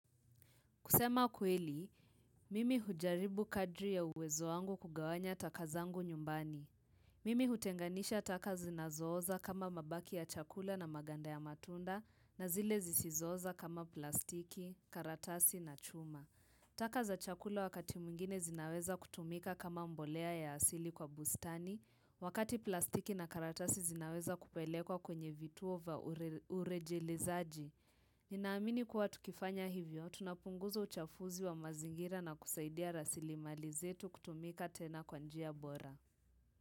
Kusema kweli, mimi hujaribu kadri ya uwezo wangu kugawanya taka zangu nyumbani. Mimi hutenganisha taka zinazooza kama mabaki ya chakula na maganda ya matunda na zile zisizooza kama plastiki, karatasi na chuma. Taka za chakula wakati mwingine zinaweza kutumika kama mbolea ya asili kwa bustani, wakati plastiki na karatasi zinaweza kupelekwa kwenye vituo vya urejelezaji. Ninaamini kuwa tukifanya hivyo, tunapunguza uchafuzi wa mazingira na kusaidia rasilimali zetu kutumika tena kwa njia bora.